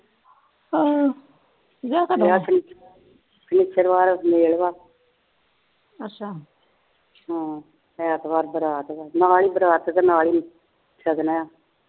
ਅੱਛਾ ਹਮ ਐਤਵਾਰ ਬਰਾਤ ਵਾ ਨਾਲ ਹੀ ਬਰਾਤ ਤੇ ਨਾਲ ਹੀ ਸ਼ਗਨ ਆ